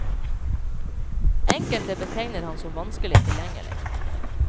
Enkelte betegner ham som vanskelig tilgjengelig.